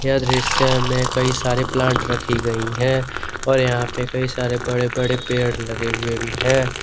यह दृश्य में कई सारे प्लांट रखी गई है और यहां पर कई सारे बड़े बड़े पेड़ लगे हुए भी है।